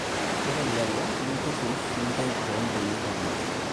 ore lelo linrurrur nintoip too mbenek oormariko